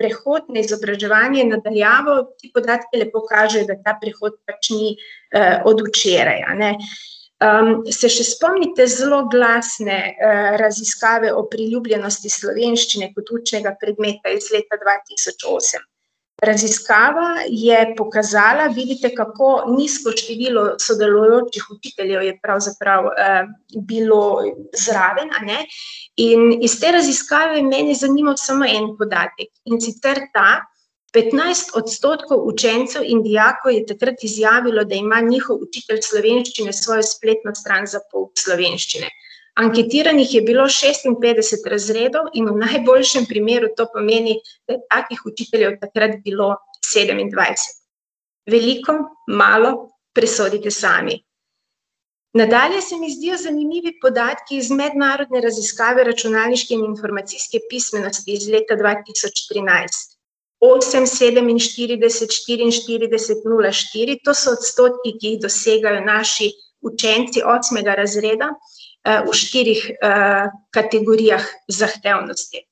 prehod na izobraževanje na daljavo, ti podatki lepo kažejo, da ta prehod pač ni, od včeraj, a ne. se še spomnite zloglasne, raziskave o priljubljenosti slovenščine kot učnega predmeta iz leta dva tisoč osem? Raziskava je pokazala, vidite, kako nizko število sodelujočih učiteljev je pravzaprav, bilo zraven, a ne. In iz te raziskave je mene zanimalo samo en podatek, in sicer ta: petnajst odstotkov učencev in dijakov je takrat izjavilo, da ima njihov učitelj slovenščine svojo spletno stran za pouk slovenščine. Anketiranih je bilo šestinpetdeset razredov in v najboljšem primeru to pomeni, da je takih učiteljev takrat bilo sedemindvajset. Veliko, malo? Presodite sami. Nadalje se mi zdijo zanimivi podatki iz mednarodne raziskave računalniške in informacijske pismenosti iz leta dva tisoč trinajst. Osem, sedeminštirideset, štiriinštirideset, nula, štiri, to so odstotki, ki jih dosegajo naši učenci osmega razreda, v štirih, kategorijah zahtevnosti.